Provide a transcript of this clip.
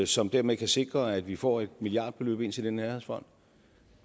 som dermed kan sikre at vi får et milliardbeløb ind til den nærhedsfond